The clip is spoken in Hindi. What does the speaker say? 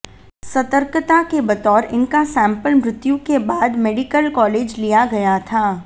सतर्कता के बतौर इनका सेम्पल मृत्यु के बाद मेडिकल कॉलेज लिया गया था